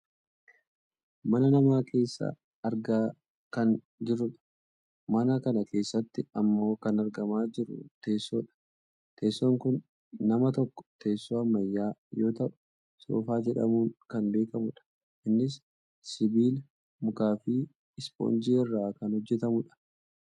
Mana namaa keessa argaa kan jirrudha. mana kana keessatti ammoo kan argamaa jiru teessoodha. teessoon kun amma tokko teessoo ammayyaa yoo ta'u soofaa jedhamuun kan beekkamudha. innis sibiilaa, mukaafi 'ispoonjii' irraa kan hojjatamudha.